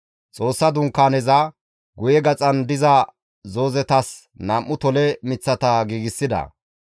Xoossa Dunkaaneza guye gaxan diza zoozetas nam7u tole miththata giigsida.